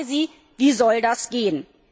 Ich frage Sie, wie soll das gehen?